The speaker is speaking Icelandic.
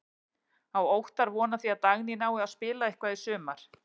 Á Óttar von á því að Dagný nái að spila eitthvað í sumar?